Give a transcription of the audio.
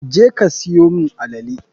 je ka siyo mun alele.